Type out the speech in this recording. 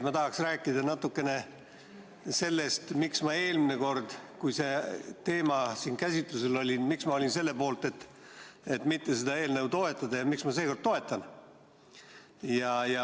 Ma tahaksin rääkida natukene sellest, miks ma eelmine kord, kui see teema siin käsitlusel oli, olin selle poolt, et seda eelnõu mitte toetada, ja miks ma seekord toetan.